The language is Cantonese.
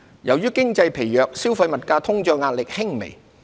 由於經濟疲弱，消費物價通脹壓力輕微。